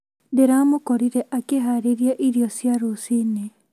Ndĩramũkorire akĩharĩria irio cia rũciinĩ